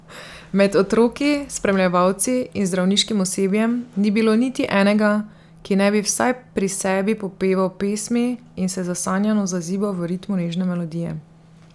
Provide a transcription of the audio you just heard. Med otroki, spremljevalci in zdravniškim osebjem ni bilo niti enega, ki ne bi vsaj pri sebi popeval pesmi in se zasanjano zazibal v ritmu nežne melodije.